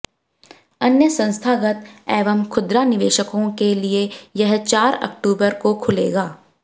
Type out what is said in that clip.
अन्य संस्थागत एवं खुदरा निवेशकों के लिये यह चार अक्टूबर को खुलेगा